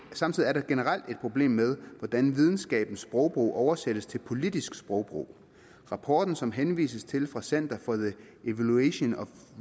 samtidig er der generelt et problem med hvordan videnskabens sprogbrug oversættes til politisk sprogbrug rapporten som der henvises til fra center for the evaluation of